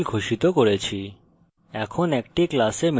আমি দুটি ভ্যারিয়েবল ঘোষিত করেছি